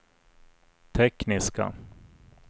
tekniska